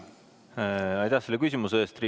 Aitäh selle küsimuse eest!